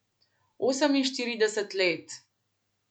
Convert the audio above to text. Oseminštirideset let.